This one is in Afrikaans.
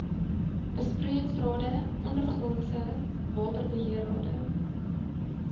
besproeiingsrade ondergrondse waterbeheerrade